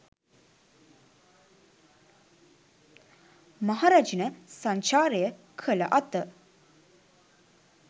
මහරැජින සංචාරය කළ අත